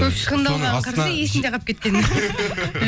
көп шығындалғанын қарасай есінде қалып кеткенін